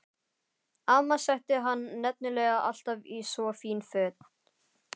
Amma setti hann nefnilega alltaf í svo fín föt.